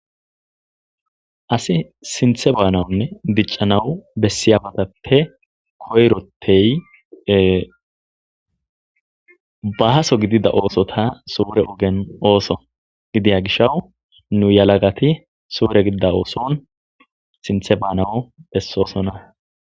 asi sinthe baanawunne diccanawu bessiabatappe koyroteye bahaso gidida oosota suure ogen ooso gidiya gishaw nu yalagati suure gidida ooson sinthe baanawu bessoosona